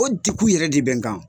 O degun yɛrɛ de bɛ n kan